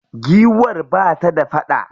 Giwar ba ta da faɗa.